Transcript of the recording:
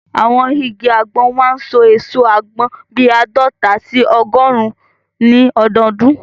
Àwọn igi àgbọn máa n so èso àgbọn bíi àádọta sí ọgọrùn ní ọdọdún